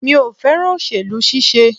Mi ò fẹ́ràn òsèlú ṣíṣe.